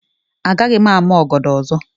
Agaghị m ama ọgọdọ ọzọ.